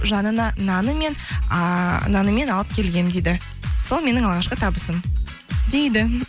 жанына ыыы нанымен алып келгенмін дейді сол менің алғашқы табысым дейді